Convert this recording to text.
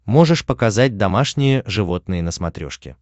можешь показать домашние животные на смотрешке